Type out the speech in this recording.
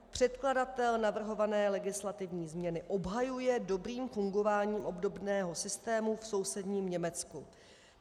Předkladatel navrhované legislativní změny obhajuje dobrým fungováním obdobného systému v sousedním Německu.